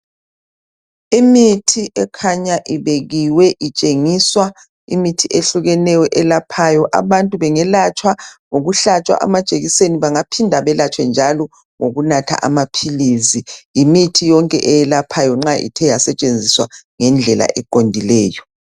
Imithi ekhanya ibekiwe itshengisa imithi eyehlukeneyo elaphayo. Abantu bengelatshwa ngokuhlatshwa amajekiseni, bangaphinda belatshwe njalo ngokunatha amaphilisi. Leyi yimithi eyelaphayo njalo nxa ithe yasetshenziswa ngendlela eqondileyo.